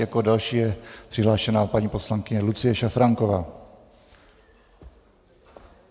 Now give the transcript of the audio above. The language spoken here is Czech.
Jako další je přihlášena paní poslankyně Lucie Šafránková.